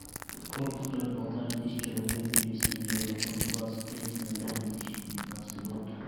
сколько стоит полторы тысячи рублей перевести в евро курс двадцать третье ноября две тысячи девятнадцатый год